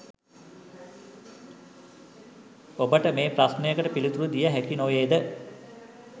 ඔබට මේ ප්‍රශ්නකට පිළිතුරු දිය හැකි නොවේද